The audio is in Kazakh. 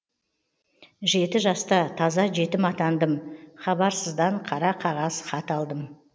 жеті жаста таза жетім атандым хабарсыздан қара қағаз хат алдым